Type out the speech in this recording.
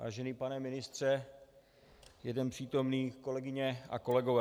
Vážený pane ministře, jeden přítomný, kolegyně a kolegové.